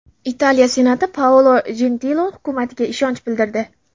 Italiya senati Paolo Jentiloni hukumatiga ishonch bildirdi.